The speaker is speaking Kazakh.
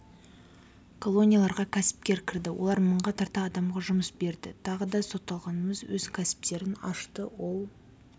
колонияларға кәсіпкер кірді олар мыңға тарта адамға жұмыс берді тағы да сотталғанымыз өз кәсіптерін ашты ол